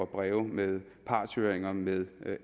breve med partshøringer med